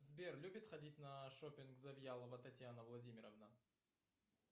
сбер любит ходить на шопинг завьялова светлана владимировна